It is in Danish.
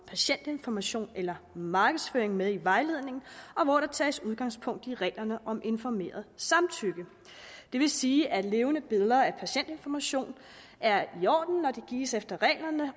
patientinformation eller markedsføring med i vejledningen hvor der tages udgangspunkt i reglerne om informeret samtykke det vil sige at levende billeder af patientinformation er i orden når de gives efter reglerne